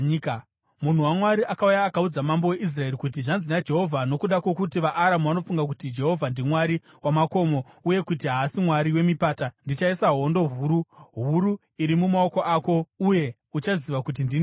Munhu waMwari akauya akaudza mambo weIsraeri kuti, “Zvanzi naJehovha: ‘Nokuda kwokuti vaAramu vanofunga kuti Jehovha ndimwari wamakomo, uye kuti haasi mwari wemipata, ndichaisa hondo huru huru iyi mumaoko ako, uye uchaziva kuti ndini Jehovha.’ ”